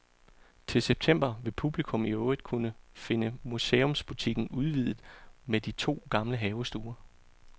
Til september vil publikum i øvrigt finde museumsbutikken udvidet med de to gamle havestuer.